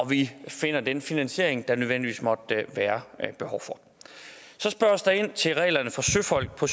vi finder den finansiering der nødvendigvis måtte være behov for så spørges der ind til reglerne for søfolk på